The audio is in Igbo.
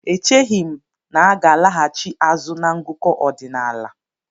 Echeghi m na aga alaghachi azụ na ngụkọ ọdinaala.